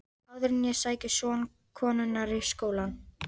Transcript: Áður en ég sæki son konunnar í skólann.